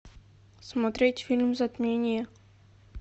смотреть фильм затмение